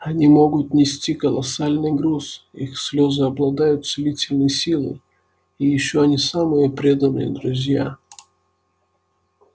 они могут нести колоссальный груз их слезы обладают целительной силой и ещё они самые преданные друзья